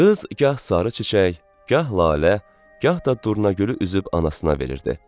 Qız gah sarı çiçək, gah lalə, gah da durnagülü üzüb anasına verirdi.